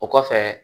O kɔfɛ